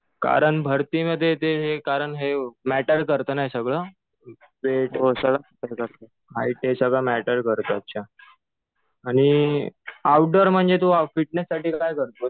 कारण भरतीमध्ये ते हे कारण हे मॅटर करतं ना हे सगळं. वेट वगैरे सगळं , हाईट ते सगळं मॅटर करतं. अच्छा. आणि आऊटर म्हणजे तु फिटनेस साठी काय करतोस?